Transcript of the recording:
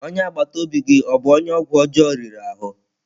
Onye agbata obi gị ọ bụ onye ọgwụ ọjọọ riri ahụ?